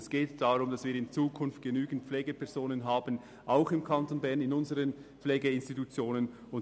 Es geht darum, dass wir in Zukunft auch im Kanton Bern genügend Pflegefachpersonen in unseren Pflegeinstitutionen haben wollen.